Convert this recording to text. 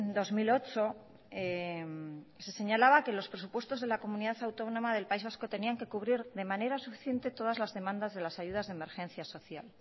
dos mil ocho se señalaba que los presupuestos de la comunidad autónoma del país vasco tenían que cubrir de manera suficiente todas las demandas de las ayudas de emergencia social